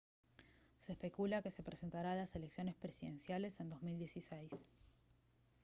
se especula que se presentará a las elecciones presidenciales en 2016